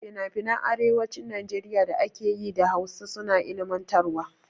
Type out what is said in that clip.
Finafinan arewacin Najeriya da ake yi da Hausa suna ilmantarwa.